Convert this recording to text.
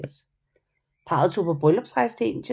Parret tog på bryllupsrejse til Italien